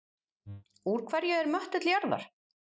Úr hverju er möttull jarðar?